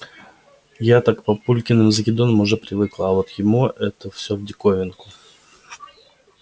я-то к папулькиным закидонам уже привыкла а вот ему это всё в диковинку